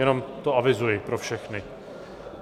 Jenom to avizuji pro všechny.